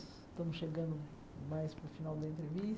Estamos chegando mais para o final da entrevista.